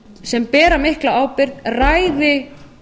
sem bera mikla ábyrgð ræði